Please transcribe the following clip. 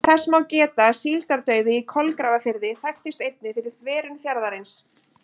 Þess má geta að síldardauði í Kolgrafafirði þekktist einnig fyrir þverun fjarðarins.